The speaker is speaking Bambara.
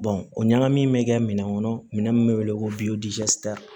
o ɲagami in bɛ kɛ minɛn kɔnɔ minɛn min bɛ wele ko